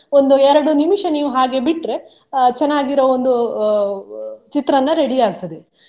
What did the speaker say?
ಒಂದು ಎರಡು ನಿಮಿಷ ನೀವು ಹಾಗೆ ಬಿಟ್ರೆ ಅಹ್ ಚೆನ್ನಾಗಿರೋ ಒಂದು ಅಹ್ ಚಿತ್ರಾನ್ನ ready ಆಗ್ತದೆ.